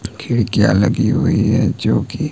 खिड़कियां लगी हुई है जो की--